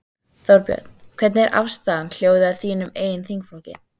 Þorbjörn: Hvernig er afstaðan, hljóðið í þínum eigin þingflokki?